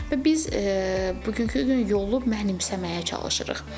Və biz bugünkü gün yolu mənimsəməyə çalışırıq.